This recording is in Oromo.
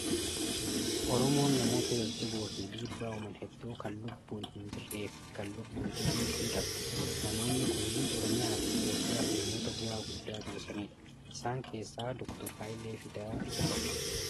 Oromoon namoota jajjaboo fi dhibbaa uuman hedduu kan lubbuun hin jirree fi kan lubbuun jiranis ni qabdi. Namoonni kunniin Oromiyaa fi Itoophiyaaf namoota bua'aa guddaa buusanidha. Isaan keessaa Doktar Hayilee Fidaa isa tokko.